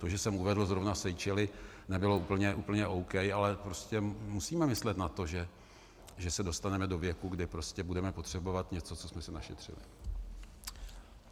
To, že jsem uvedl zrovna Seychely, nebylo úplně OK, ale prostě musíme myslet na to, že se dostaneme do věku, kdy budeme potřebovat něco, co jsme si našetřili.